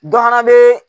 Dɔ fana bɛ